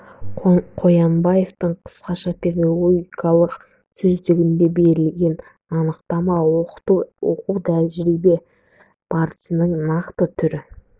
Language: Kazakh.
қоянбаевтың қысқаша педагогикалық сөздігінде берілген анықтама оқыту оқу тәрбие барысының нақты түрі